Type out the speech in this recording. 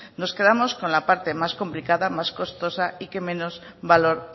nos quedamos con la parte más complicada más costosa y que menos valor